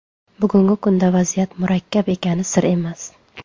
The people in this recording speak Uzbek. Bugungi kunda vaziyat murakkab ekani sir emas.